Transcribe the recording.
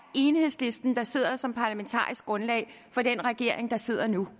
enhedslisten der sidder som parlamentarisk grundlag for den regering der sidder nu